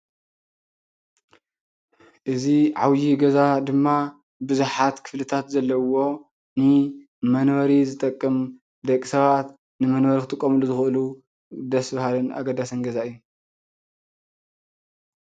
እዚ ዓብይ ገዛ ድማ ብዙሓት ክፍልታት ዘለውዎ ንመንበሪ ዝጠቅም ደቂ ሰባት ንመንበሪ ክጥቀምሉ ዝኽእሉ ደስ በሃልን ኣገዳስን ገዛ እዩ፡፡